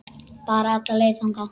Bara alla leið þangað!